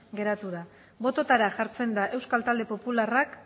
geratu da bototara jartzen da euskal talde popularrak